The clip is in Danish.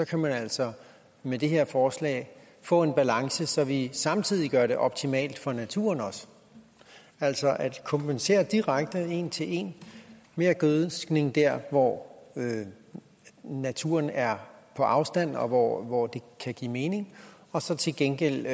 kan man altså med det her forslag få en balance så vi samtidig også gør det optimalt for naturen altså at kompensere direkte en til en mere gødskning der hvor naturen er på afstand og hvor det kan give mening og så til gengæld